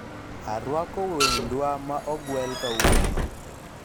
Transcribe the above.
arwako wendwa ma ogwel kawuono